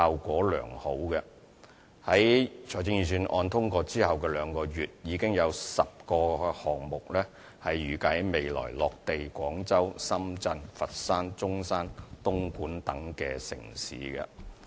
在財政預算案通過後兩個月，已有10個項目預計會在未來落地廣州、深圳、佛山、中山、東莞等城市。